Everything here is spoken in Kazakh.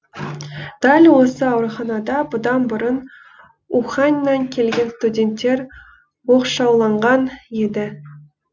дәл осы ауруханада бұдан бұрын уханьнан келген студенттер оқшауланған еді